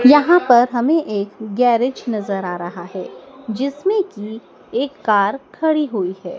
यहां पर हमें एक गैरेज नजर आ रहा है जिसमें की एक कार खड़ी हुई है।